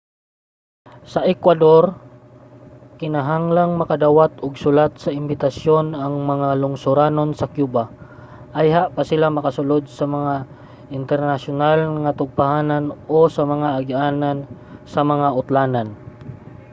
sa ecuador kinahanglang makadawat og sulat sa imbitasyon ang mga lungsuranon sa cuba ayha pa sila makasulod sa mga internasyonal nga tugpahanan o sa mga agianan sa mga utlanan